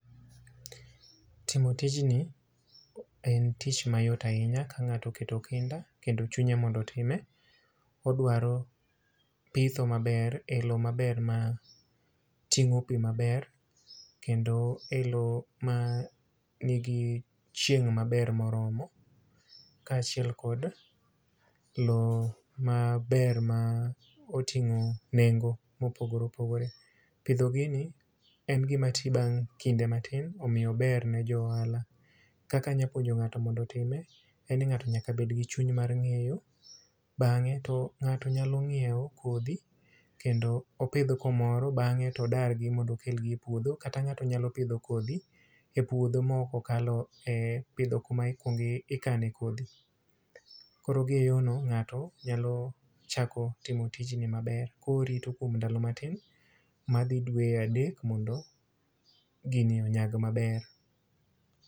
Timo tijni en tich mayo ahinya ka ng'ato oketo kinda kendo chunye mondo otime. Odwaro pitho maber, e lowo maber ma tingó pi maber, kendo e lowo ma nigi chieng' maber moromo, ka achiel kod lowo maber ma otingó nengo ma opogore opogore. Pidho gini en gima ti bang' kinde matin omiyo ober ne jo ohala. Kaka anyalo puonjo ngáto mondo otime, en ni ngáto nyaka bed gi chuny mar ngéyo, bangé to ngáto nyalo nyiewo kodhi kendo opidh kumoro, bangé to odargi mondo okel gi e puodho. Kata ngáto nyalo pidho kodhi e puodho ma ok okalo e pidho kuma ikuongo ikane kodhi. Koro gi e yo no ngáto nyalo chako timo tijni maber, ka orito kuom ndalo matin madhi dweye adek mondo gini onyag maber.